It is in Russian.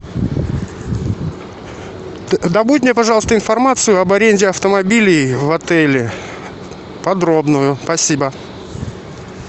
добудь мне пожалуйста информацию об аренде автомобилей в отеле подробную спасибо